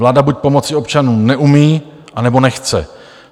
Vláda buď pomoci občanům neumí, anebo nechce.